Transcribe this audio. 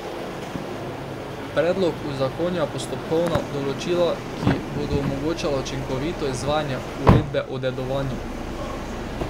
Predlog uzakonja postopkovna določila, ki bodo omogočala učinkovito izvajanje uredbe o dedovanju.